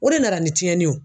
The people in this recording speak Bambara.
O de nara ni tiɲɛni yo